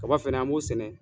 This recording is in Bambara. Kaba fɛnɛ an b'o sɛnɛ